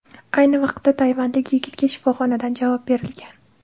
Ayni vaqtda tayvanlik yigitga shifoxonadan javob berilgan.